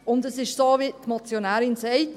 Und es ist so, wie die Motionärin es sagt: